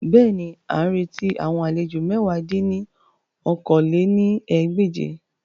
Bẹ́ẹ̀ni, a n reti awon alejo mẹ̀wá dín ní okòó-lé-ní-ẹgbẹ́je